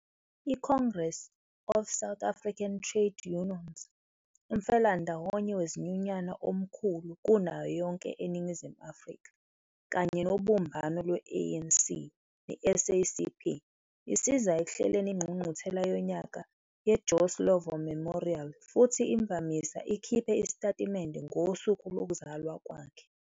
I-Congress of South African Trade Unions, umfelandawonye wezinyunyana omkhulu kunayo yonke eNingizimu Afrika, kanye nobumbano lwe-ANC ne-SACP, isiza ekuhleleni ingqungquthela yonyaka yeJoe Slovo Memorial futhi imvamisa ikhiphe isitatimende ngosuku lokuzalwa kwakhe.